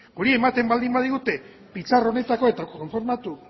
guri ematen baldin badigute pitxar honetako eta konformatu